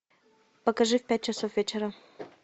покажи в пять часов вечера